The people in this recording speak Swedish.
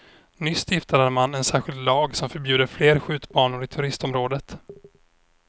Nyss stiftade man en särskild lag som förbjuder fler skjutbanor i turistområdet.